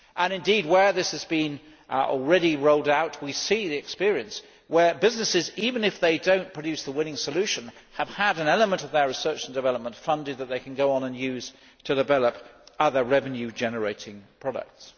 Indeed, where this has been already rolled out, we see the experience where businesses, even if they do not produce the winning solution, have had an element of their research and development funded that they can then go on and use to develop other revenue generating products.